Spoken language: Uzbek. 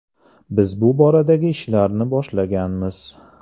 Biz bu boradagi ishlarni boshlaganmiz.